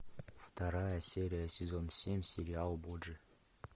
вторая серия сезон семь сериал борджиа